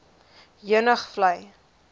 heuningvlei